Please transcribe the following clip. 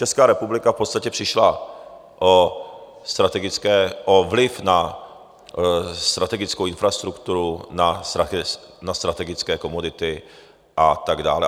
Česká republika v podstatě přišla o vliv na strategickou infrastrukturu, na strategické komodity a tak dále.